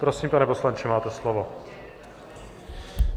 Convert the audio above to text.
Prosím, pane poslanče, máte slovo.